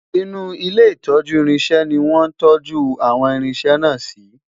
inú ilé itọju irinṣẹ ní wọn tọju àwọn irinṣẹ na si